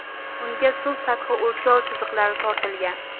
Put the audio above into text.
Unga suv sathi o‘lchov chiziqlari tortilgan.